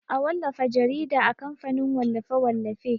A wallafa jarida a kamfanin wallafe-wallafe.